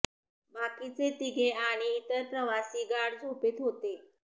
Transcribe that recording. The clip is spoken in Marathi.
बाकीचे तिघे आणि इतर प्रवासी गाढ झोपेत होते